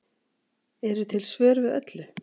eru til svör við öllu